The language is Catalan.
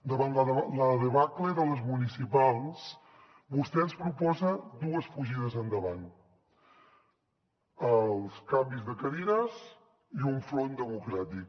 davant la debacle de les municipals vostè ens proposa dues fugides endavant els canvis de cadires i un front democràtic